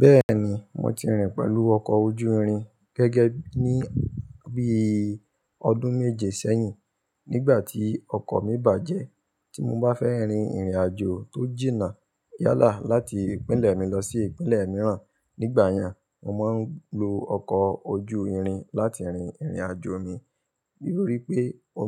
Bẹ́ẹ̀ni mo ti rìn pẹ̀lú ọkọ̀ ojú irin gẹ́gẹ́ bíi ọdún méje sẹ́yìn nígbà tí ọkọ̀ mi bàjẹ́. Tí mo bá fẹ́ rin ìrìnàjò tó jìnnà yálà láti ìpínlẹ̀ mi lọ sí ìpínlẹ̀ mìíràn nígbà yẹn, mo máa ń lo ọkọ̀ ojú irin láti rin ìrìnàjò mi. Nítorí pé